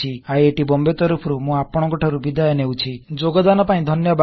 IIT Bombay ତରଫରୁ ମୁଁ ଆପଣକଂଠାରୁ ବିଦାୟ ନେଉଛି ଯୋଗୋଦାନ ପାଇଁ ଧନ୍ୟବାଦ